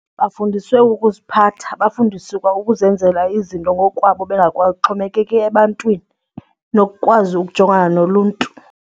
Bafundiswe ukuziphatha, bafundiswe kwa ukuzenzela izinto ngokukwabo bengaxhomekeki ebantwini nokukwazi ukujongana noluntu.